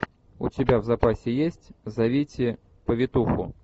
у тебя в запасе есть зовите повитуху